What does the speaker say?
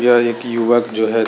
यह एक युवक जो है।